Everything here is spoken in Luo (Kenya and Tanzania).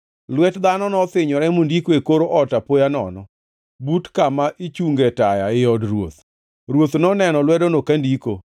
Lwet dhano nothinyore mondiko e kor ot apoya nono, but kama ichunge taya ei od ruoth. Ruoth noneno lwedono kandiko.